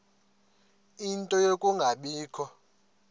ie nto yokungabikho